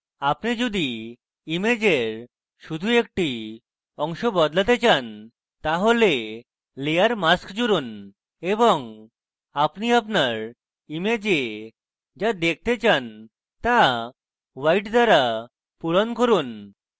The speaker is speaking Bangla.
আপনি যদি ইমেজের শুধু একটি অংশ বদলাতে চান তাহলে layer mask জুড়ুন এবং আপনি আপনার image যা দেখতে চান তা white দ্বারা ভরুন